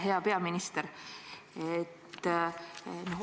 Hea peaminister!